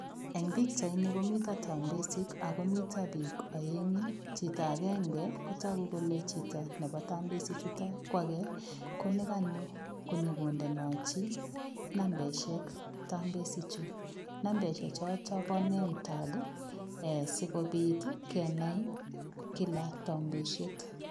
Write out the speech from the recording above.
Eng pichait nii komiteen tambesiik akomiten biik aenguu chitoo agenge ko taguu kole chitoo nebo tambesiik chutoon ko agei ko ne kanyoo kondenajii nambaisheek tambesiik chotoo bo nemtaag sikobiit ii kenai kila tambessiet.